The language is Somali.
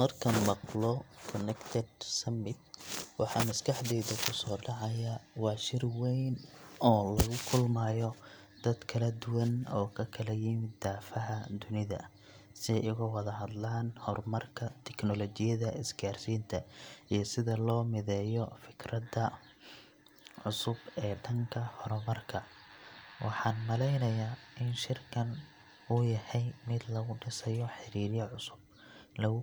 Markaan maqlo Connected Summit waxa maskaxdayda kusoo dhacaya waa shir wayn oo lagu kulmayo dad kala duwan oo ka kala yimid daafaha dunida, si ay uga wada hadlaan horumarka tignoolajiyadda, isgaarsiinta, iyo sida loo mideeyo fikirrada cusub ee dhanka horumarka. Waxan malaynayaa in shirkan uu yahay mid lagu dhisayo xidhiidhyo cusub, lagu